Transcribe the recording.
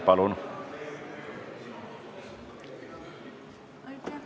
Palun!